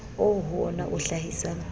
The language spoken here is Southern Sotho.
oo ho wona o hlahisang